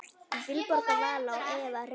Vilborg Vala og Eva Hrund.